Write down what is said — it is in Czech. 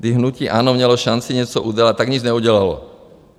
kdy hnutí ANO mělo šanci něco udělat, tak nic neudělalo.